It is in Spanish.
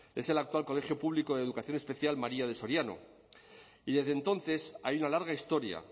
es el actual colegio público de educación especial maría de soriano y desde entonces hay una larga historia